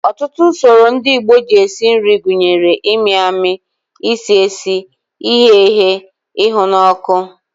Ọtụtụ usoro ndị Igbo si esi nri gụnyere ịmị amị, isi esi, ighe eghe, ịhụ n'ọkụ